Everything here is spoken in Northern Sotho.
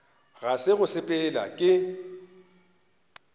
ga se go sepela ke